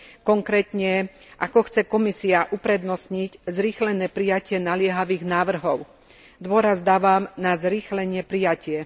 Konkrétne Ako chce Komisia uprednostniť zrýchlené prijatie naliehavých návrhov? Dôraz dávam na zrýchlené prijatie.